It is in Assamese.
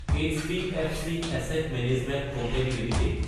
HDFC asset management company Ltd